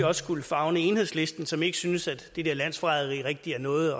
også skulle favne enhedslisten som ikke synes at det der med landsforræderi rigtig er noget